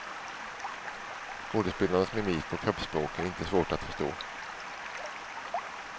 Skådespelarnas mimik och kroppsspråk är inte svårt att förstå.